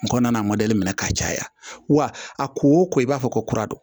N kɔnna a mɔdɛli minɛ ka caya wa a ko o ko i b'a fɔ ko kuradɔ